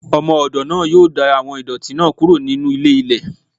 Ọmọ-ọdọ naa yoo da awọn idọti naa kuro ninu ílé- ílè.